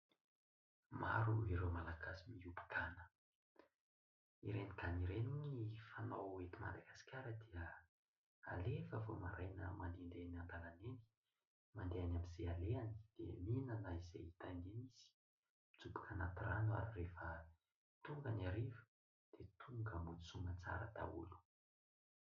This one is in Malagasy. Maro ireo Malagasy miompy gana. Ireny gana ireny ny fanao eto Madagasikara dia alefa vao maraina mandehandeha eny andalana eny, mandeha any amin'izay alehany dia mihinana izay hitany eny izy. Mijoboka anaty rano ary rehefa tonga ny hariva dia tonga mody soa amantsara daholo.